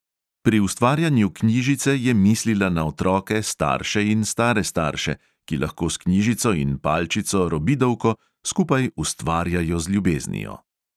Pri ustvarjanju knjižice je mislila na otroke, starše in stare starše, ki lahko s knjižico in palčico robidovko skupaj ustvarjajo z ljubeznijo.